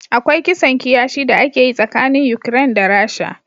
Akwai kisan kiyashi da ake yi tsakanin Ukraine da Rasha.